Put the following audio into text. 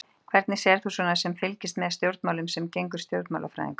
Hvernig sérð þú svona sem fylgist með stjórnmálum sem stjórnmálafræðingur?